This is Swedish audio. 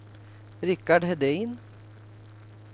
Richard Hedin